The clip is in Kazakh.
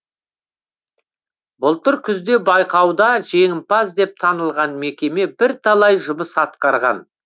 былтыр күзде байқауда жеңімпаз деп танылған мекеме бірталай жұмыс атқарған